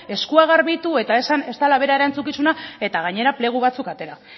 eskuak garbitu eta esan ez dela bere erantzukizuna eta gainera plegu batzuk atera